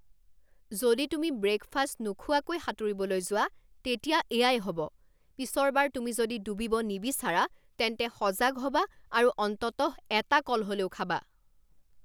যদি তুমি ব্ৰেকফাষ্ট নোখোৱাকৈ সাঁতুৰিবলৈ যোৱা, তেতিয়া এয়াই হ'ব। পিছৰবাৰ তুমি যদি ডুবিব নিবিচাৰা, তেন্তে সজাগ হ'বা আৰু অন্ততঃ এটা কল হ'লেও খাবা।